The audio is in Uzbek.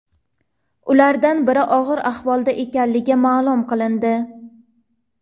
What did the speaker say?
Ulardan biri og‘ir ahvolda ekanligi ma’lum qilindi.